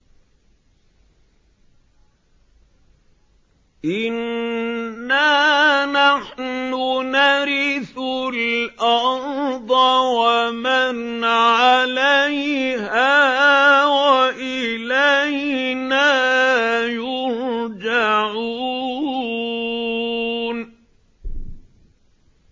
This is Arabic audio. إِنَّا نَحْنُ نَرِثُ الْأَرْضَ وَمَنْ عَلَيْهَا وَإِلَيْنَا يُرْجَعُونَ